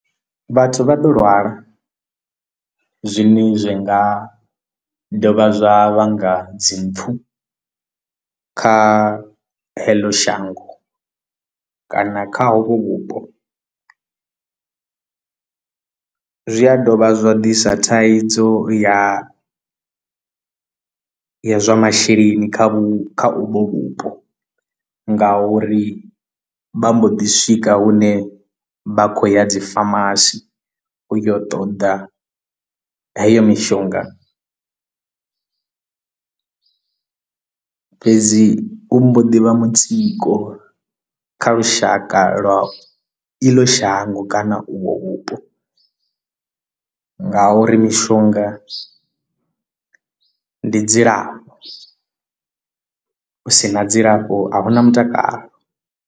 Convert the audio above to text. Vhathu vha ḓo lwala zwine zwi nga dovha zwa vhanga dzi mpfu kha heḽo shango kana kha hovho vhupo zwi a dovha zwa ḓisa thaidzo ya ya zwa masheleni kha vhu kha uvho vhupo nga uri vha mbo ḓi swika hune vha khou ya dzi pharmarcy u ya u ṱoḓa heyo mishonga fhedzi u mbo ḓi vha mutsiko kha lushaka lwa iḽo shango na uvho vhupo nga uri mishonga ndi dzilafho u si na dzilafho a hu na mutakalo.